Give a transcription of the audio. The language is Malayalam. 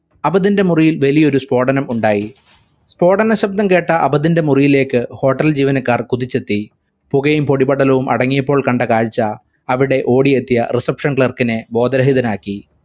അബദിന്റെ മുറിയിൽ വലിയൊരു സ്ഫോടനം ഉണ്ടായി. സ്ഫോടന ശബ്ദം കേട്ട അബദിന്റെ മുറിയിലേക്ക് hotel ജീവനക്കാർ കുതിച്ചെത്തി പുകയും പൊടിപടലങ്ങളും അടങ്ങിയപ്പോൾ കണ്ട കാഴ്ച അവിടെ ഓടിയെത്തിയ reception clerk നെ ബോധരഹിതനാക്കി